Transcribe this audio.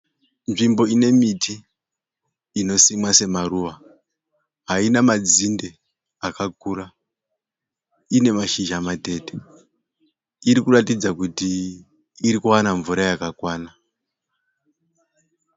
Nzvimbo inemiti inosimwa semaruva. Haina madzinde akakura. Ine mashizha matete. Irikuratidza kuti irikuwana mvura yakakwana.